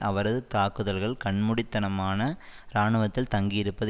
அவரது தாக்குதல்கள் கண்மூடித்தனமான இராணுவத்தில் தங்கியிருப்பது